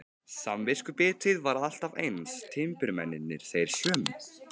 Samviskubitið var alltaf eins, timburmennirnir þeir sömu.